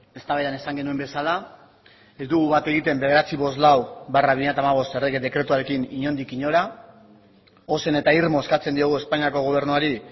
eztabaida esan genuen bezala ez dugu bat egiten seiehun eta berrogeita hamalau barra bi mila hamabost errege dekretuarekin inondik inora ozen eta irmoz eskatzen diogu espainiako gobernuari